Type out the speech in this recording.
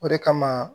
O de kama